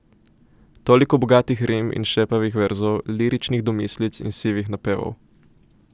Toliko bogatih rim in šepavih verzov, liričnih domislic in sivih napevov.